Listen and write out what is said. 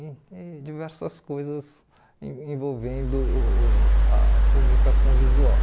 e e diversas coisas en envolvendo uh uh a comunicação visual.